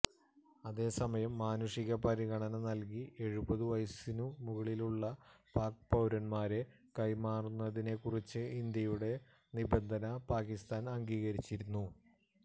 അതേസമയം മാനുഷിക പരിഗണന നല്കി എഴുപതു വയസിനു മുകളിലുള്ള പാക്ക് പൌരന്മാരെ കൈമാറുന്നതിനെ കുറിച്ച് ഇന്ത്യയുടെ നിബന്ധന പാക്കിസ്ഥാന് അംഗീകരിച്ചിരുന്നു